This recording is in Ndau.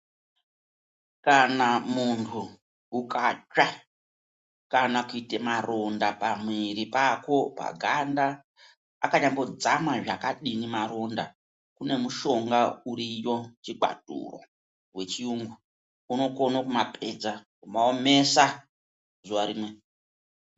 Kana muntu ukatsva, kana kuite maronda pamwiri pako paganda, akanyambodzama zvakadini maronda. Kune mushonga uriyo, chikwaturo, wechiyungu, unokone kumapedza, kumaomesa zuwa rimwe